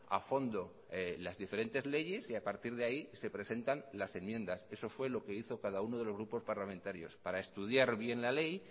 a fondo las diferentes leyes y a partir de ahí se presentan las enmiendas eso fue lo que hizo cada uno de los grupos parlamentarios para estudiar bien la ley